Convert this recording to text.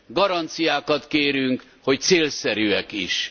Garanciákat kérünk, hogy célszerűek is.